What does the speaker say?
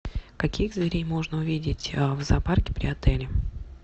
каких зверей можно увидеть в зоопарке при отеле